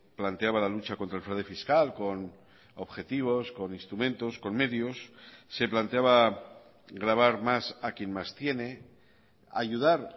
planteaba la lucha contra el fraude fiscal con objetivos con instrumentos con medios se planteaba gravar más a quien más tiene ayudar